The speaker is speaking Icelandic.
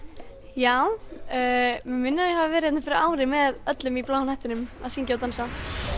já mig minnir að ég hafi verið hérna fyrir ári með öllum úr Bláa hnettinum að syngja og dansa